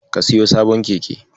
Ka siyo sabon keke.